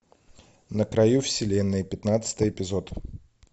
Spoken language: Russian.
на краю вселенной пятнадцатый эпизод